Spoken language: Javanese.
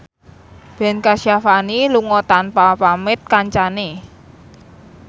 Ben Kasyafani lunga tanpa pamit kancane